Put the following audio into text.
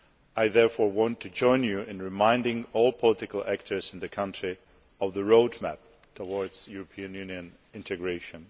I therefore want to join you in reminding all political actors in the country of the road map towards European Union integration.